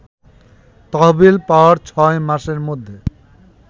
তহবিল পাওয়ার ৬ মাসের মধ্যে